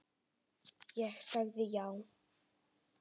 Ég sagði já.